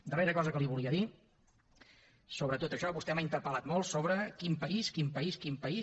darrera cosa que li volia dir sobre tot això vostè m’ha interpel·lat molt sobre quin país quin país quin país